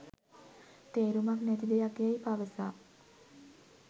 තේරුමක් නැති දෙයක් යැයි පවසා